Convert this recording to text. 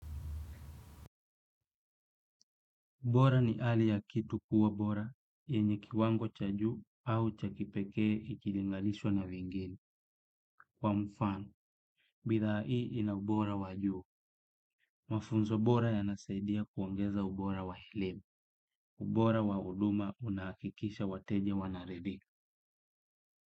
Ubora ni ali ya kitu kuwa bora, yenye kiwango cha juu au cha kipekee ikilingalishwa na vingine. Kwa mfano, bidhaa ii ina ubora wajuu. Mafunzo bora yanasaidia kuongeza ubora wa hilem. Ubora wa huduma una akikisha wateja wanaredi.